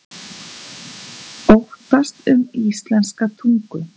Óttast um íslenska tungu